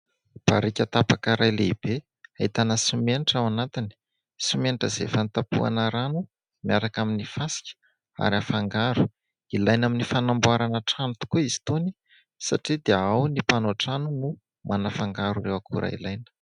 Barika tapaka iray lehibe ahitana simenitra ao anatiny. Simenitra izay efa notapohana rano miaraka amin'ny fasika ary afangaro ; ilaina amin'ny fanamboarana trano tokoa izy itony satria dia ao ny mpanao trano no manafangaro ireo akora ilaina.